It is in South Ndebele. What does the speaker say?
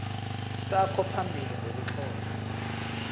sakho phambili ngokutlola